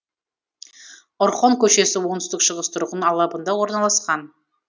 орхон көшесі оңтүстік шығыс тұрғын алабында орналасқан